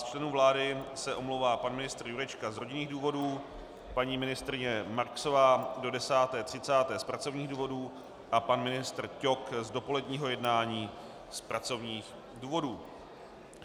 Z členů vlády se omlouvá pan ministr Jurečka z rodinných důvodů, paní ministryně Marksová do 10.30 z pracovních důvodu a pan ministr Ťok z dopoledního jednání z pracovních důvodů.